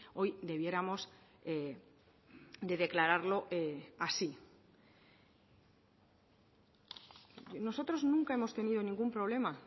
hoy debiéramos de declararlo así nosotros nunca hemos tenido ningún problema